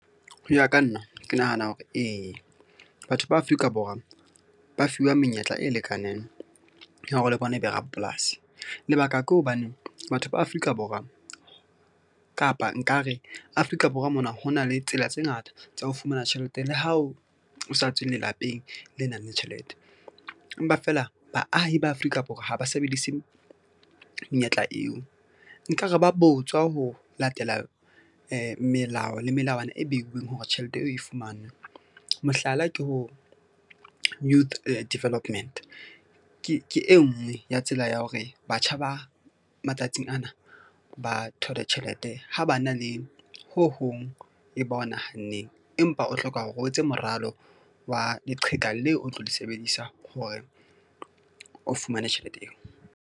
Ho ya ka nna ke nahana hore ee, batho ba Afrika Borwa ba fuwa menyetla e lekaneng ya hore le bona ebe rapolasi. Lebaka ke hobane batho ba Afrika Borwa kapa nkare Afrika Borwa mona, ho na le tsela tse ngata tsa ho fumana tjhelete le hao o sa tswe lelapeng le nang le tjhelete. Empa feela baahi ba Afrika Borwa ha ba sebedise menyetla eo nkare ba botswa ho latela melao le melawana e beuweng hore tjhelete eo e fumanwe. Mohlala, ke ho youth development ke e nngwe ya tsela ya hore batjha ba matsatsing ana ba thole tjhelete ha ba na le ho hong e ba o nahanneng. Empa o hloka hore o etse moralo wa leqheka leo, o tlo le sebedisa hore o fumane tjhelete eo.